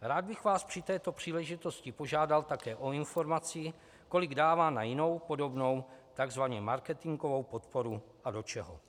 rád bych vás při této příležitosti požádal také o informaci, kolik dává na jinou podobnou tzv. marketingovou podporu a do čeho.